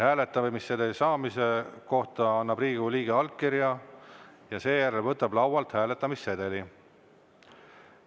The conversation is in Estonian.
Hääletamissedeli saamise kohta annab Riigikogu liige allkirja ja seejärel võtab laualt hääletamissedeli.